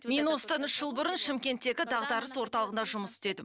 мен осыдан үш жыл бұрын шымкенттегі дағдарыс орталығында жұмыс істедім